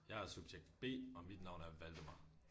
Jeg er subjekt B og mit navn er Valdemar